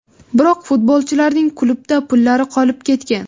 Biroq futbolchilarning klubda pullari qolib ketgan.